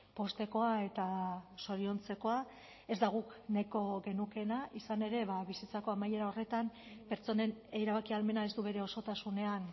poztekoa eta zoriontzekoa ez da guk nahiko genukeena izan ere bizitzako amaiera horretan pertsonen erabaki ahalmena ez du bere osotasunean